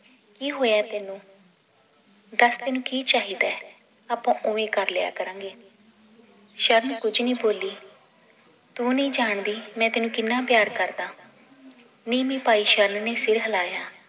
ਕੀ ਹੋਇਆ ਤੈਨੂੰ ਦੱਸ ਤੈਨੂੰ ਕੀ ਚਾਹੀਦਾ ਏ ਆਪਾਂ ਓਵੇਂ ਕਰਲਿਆ ਕਰਾਂਗੇ ਸ਼ਰਨ ਕੁਝ ਨਈ ਬੋਲੀ ਤੂੰ ਨਈ ਜਾਣਦੀ ਮੈ ਤੈਨੂੰ ਕਿੰਨਾਂ ਪਿਆਰ ਕਰਦਾਂ ਨੀਵੀਂ ਪਾਈ ਸ਼ਰਨ ਨੇ ਸਿਰ ਹਿਲਾਇਆ